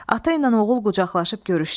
Ata ilə oğul qucaqlaşıb görüşdülər.